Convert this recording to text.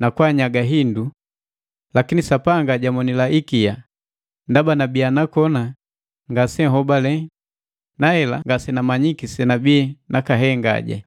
na kwaanyaga hindu. Lakini Sapanga jamonila ikia, ndaba nabii nakoni ngase hobale nahela ngasenamanyiki senabii nakahenga.